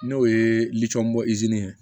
N'o ye litiyɔn bɔ inzini ye